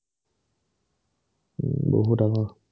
বহুত আগৰ